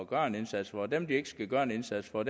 gøre en indsats for dem de ikke skal gøre en indsats for